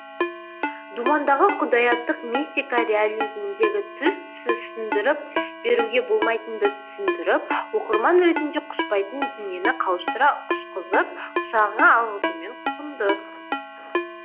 думандағы құдаяттық мистика реализміндегі түс түсіндіріп беруге болмайтынды түсіндіріп оқырман ретінде құшпайтын дүниені қауыштыра құшқызып құшағыңа алғызуымен құнды